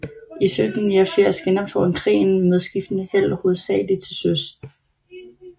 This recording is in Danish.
I 1789 genoptog han krigen med skiftende held hovedsageligt til søs